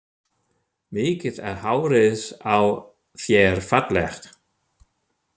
Mikið er hárið á þér fallegt!